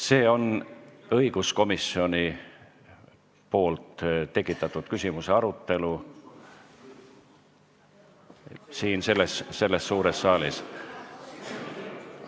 See on õiguskomisjoni tekitatud küsimuse arutelu siin suures saalis.